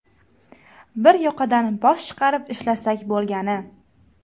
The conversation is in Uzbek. Bir yoqadan bosh chiqarib ishlasak bo‘lgani.